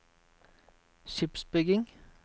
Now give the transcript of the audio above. skipsbygging